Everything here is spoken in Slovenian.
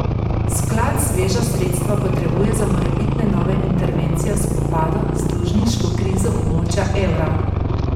Sklad sveža sredstva potrebuje za morebitne nove intervencije v spopadu z dolžniško krizo območja evra.